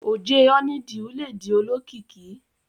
Oje honeydew ledi olókìkí